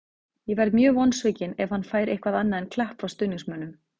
Ég verð mjög vonsvikinn ef hann fær eitthvað annað en klapp frá stuðningsmönnum.